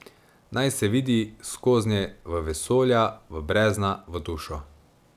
Naj se vidi skoznje v vesolja, v brezna, v dušo.